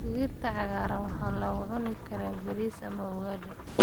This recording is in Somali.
Digirta cagaaran waxaa lagu cuni karaa bariis ama ugali.